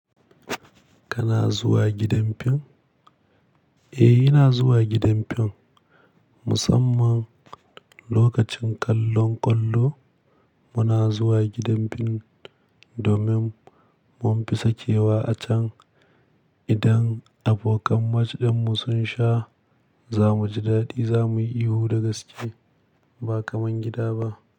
Kana zuwa gidan bincike? Eh, ina zuwa gidan fim musamman lokacin kallon ƙwallo. Muna zuwa gidan fim domin mun fi sakewa a can. Idan abokan match din mu sun sha, za mu ji daɗi, za mu yi ihu da gaske ba kaman gida ba.